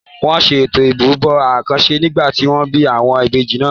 Wọn ṣe Ètò ìrúbọ àkànṣe nígbà tí wọ́n bí àwọn ìbejì náà.